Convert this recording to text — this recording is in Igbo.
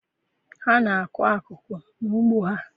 Ha na-akụ akụkụ n'ugbo ha?